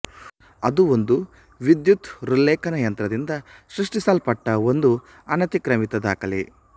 ಅದು ಒಂದು ವಿದ್ಯುತ್ ಹೃಲ್ಲೇಖನ ಯಂತ್ರದಿಂದ ಸೃಷ್ಟಿಸಲ್ಪಟ್ಟ ಒಂದು ಅನತಿಕ್ರಮಿತ ದಾಖಲೆ